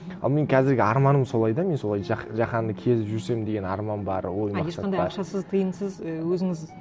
ал мен қазіргі арманым солай да мен солай жаһанды кезіп жүрсем деген арман бар а ешқандай ақшасыз тиынсыз і өзіңіз